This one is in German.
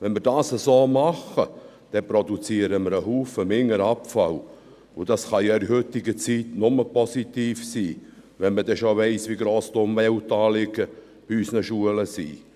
Wenn wir dies so machen, dann produzieren wir viel weniger Abfall, und dies kann ja in der heutigen Zeit nur positiv sein, wenn man denn schon weiss, wie gross die Umweltanliegen bei unseren Schulen sind.